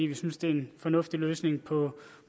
vi synes det er en fornuftig løsning